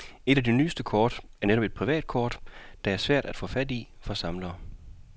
Et af de nyeste kort er netop et privatkort, der er svært at få fat i for samlerne.